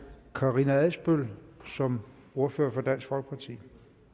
karina adsbøl som ordfører for dansk folkeparti